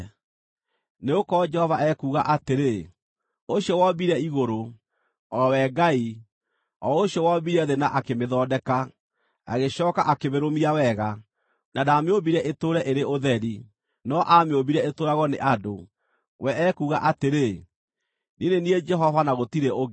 Nĩgũkorwo Jehova ekuuga atĩrĩ, ũcio wombire igũrũ, o we Ngai, o ũcio wombire thĩ na akĩmĩthondeka, agĩcooka akĩmĩrũmia wega; na ndaamĩũmbire ĩtũũre ĩrĩ ũtheri, no aamĩũmbire ĩtũũragwo nĩ andũ; we ekuuga atĩrĩ: “Niĩ nĩ niĩ Jehova, na gũtirĩ ũngĩ.